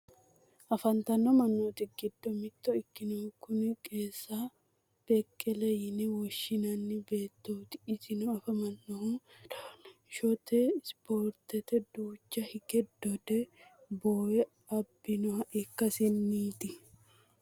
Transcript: afantino mannooti giddo mitto ikkinohu kuni qenenisa bekele yine woshshinani beettooti, isino afaminohu dodanshote ispoorteni duucha hige dode bboowe abbinoha ikkasinniiti.